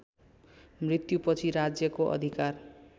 मृत्युपछि राज्यको अधिकार